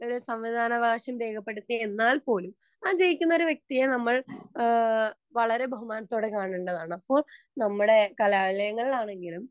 നമ്മൾ ആർക്കു സമ്മതിദാനാവകാശം രേഖപ്പെടുത്തി എന്നാൽ പോലും ആ ജയിക്കുന്ന വ്യക്തിയെ നമ്മൾ വളരെ ബഹുമാനത്തോടെ കാണേണ്ടതാണ് അപ്പോൾ നമ്മടെ കലാലയങ്ങൾ ആണെങ്കിലും